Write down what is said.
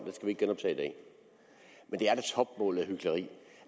og det er da topmålet af hykleri